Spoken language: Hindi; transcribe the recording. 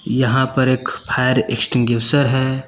यहां पर एक फायर एक्सटिंग्युशर है।